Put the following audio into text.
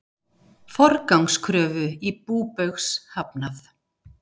Forgangskröfu í bú Baugs hafnað